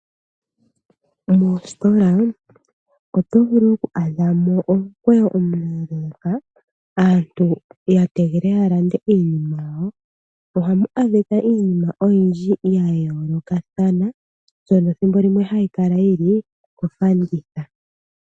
Moositola oto vulu oku adha mo omukweyo omuleeleeka, aantu ya tegelela ya lande iinima yawo. Ohamu adhika iinima oyindji ya yoolokathana mbyono thimbo limwe hayi kala yi li kofanditha.